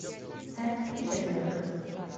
сент питерсберг